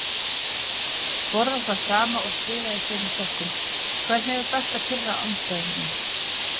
Borða það sama og spila í sömu sokkunum Hvernig er best að pirra andstæðinginn?